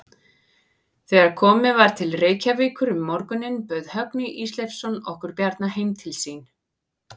Þegar komið var til Reykjavíkur um morguninn bauð Högni Ísleifsson okkur Bjarna heim til sín.